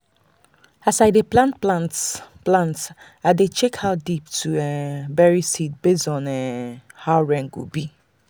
as i dey plan plant plant i dey check how deep to um bury seed based um on how rain go be.